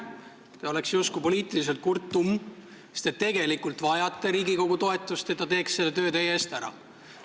Te oleks justkui poliitiliselt kurttumm, sest te tegelikult vajate Riigikogu toetust, et ta teeks selle töö teie eest ära.